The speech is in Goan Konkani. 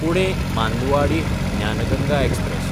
पुणे–मांदुआडिह ज्ञान गंगा एक्सप्रॅस